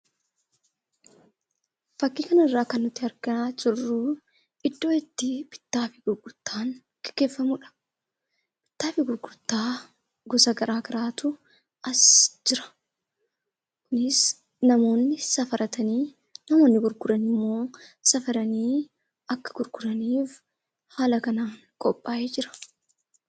Fakkii kanarraa kan nuti argaa jirru iddoo itti bittaa fi gurgurtaan gaggeeffamudha. Bittaa fi gurgurtaa gosa garaa garaatu as jira. Innis namoonni safaratanii, namoonni gurguran immoo safaranii akka gurguraniif haala kanaan qophaa'ee jira.